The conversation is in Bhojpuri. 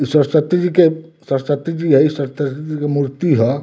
ई सरस्वती जी के सरस्वती जी हई सर त त्ती जी के मूर्ति ह।